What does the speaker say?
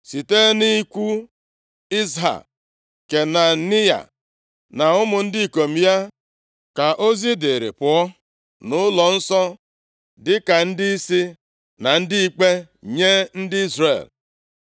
Site nʼikwu Izha, Kenaniya, na ụmụ ndị ikom ya ka ozi dịrị pụọ nʼụlọnsọ, dịka ndịisi na ndị ikpe nye ndị Izrel.